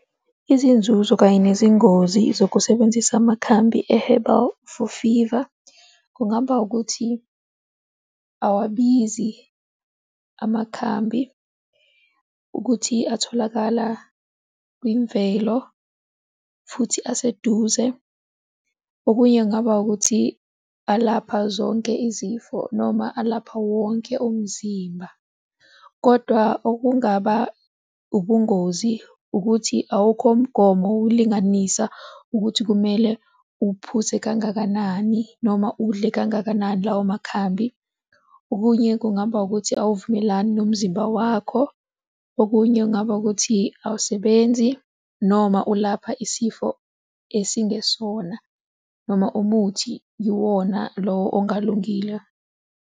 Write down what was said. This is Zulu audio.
Izinzuzo kanye nezingozi zokusebenzisa amakhambi e-herbal for fever, kungaba ukuthi awabizi amakhambi, ukuthi atholakala kwimvelo futhi aseduze. Okunye kungaba ukuthi, alapha zonke izifo noma alapha wonke umzimba. Kodwa okungaba ubungozi ukuthi awukho umgomo ukulinganisa ukuthi kumele uphuze kangakanani noma udle kangakanani lawo makhambi. Okunye kungaba ukuthi, uwuvumelani nomzimba wakho. Okunye kungaba ukuthi, awusebenzi noma ulapha isifo esingesona noma umuthi iwona lowo ongalungile.